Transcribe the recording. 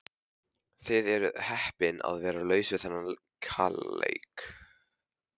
Þið eruð heppin að vera laus við þann kaleik.